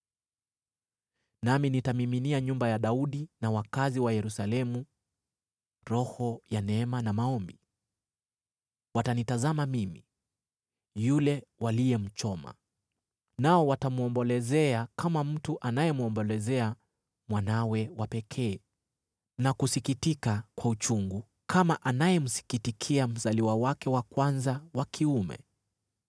“Nami nitamiminia nyumba ya Daudi na wakazi wa Yerusalemu roho ya neema na maombi. Watanitazama mimi, yule waliyemchoma. Nao watamwombolezea kama mtu anayemwombolezea mwanawe wa pekee na kusikitika kwa uchungu kama anayemsikitikia mzaliwa wake wa kwanza wa kiume.